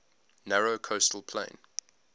narrow coastal plain